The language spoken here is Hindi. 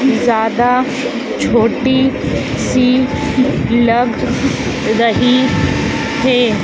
ज्यादा छोटी सी लग रही है।